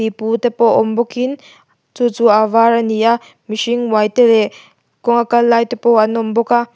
pipu te pawh awm bawk in chu chu a var a ni a mihring uai te leh kawnga Kal lai te pawh an awm bawk a.